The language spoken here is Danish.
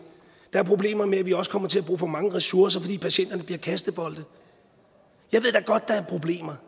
der er problemer med at vi også kommer til at bruge for mange ressourcer fordi patienterne bliver kastebolde jeg ved da godt at der er problemer